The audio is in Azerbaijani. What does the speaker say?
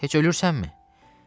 Heç ölürsənmi?